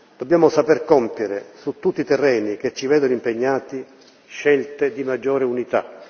Dobbiamo saper compiere, su tutti i terreni che ci vedono impegnati, scelte di maggiore unità.